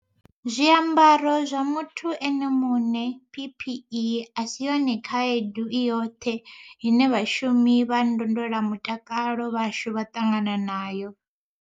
Muthu ene muṋe PPE a si yone khaedu i yoṱhe ine vhashumi vha ndondolamutakalo vhashu vha ṱangana nayo.